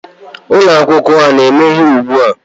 Ụlọ akwụkwọ a na-emeghe ugbu a?